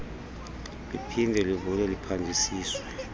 liphinde livulwe kuphandisiswe